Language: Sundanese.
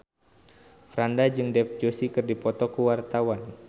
Franda jeung Dev Joshi keur dipoto ku wartawan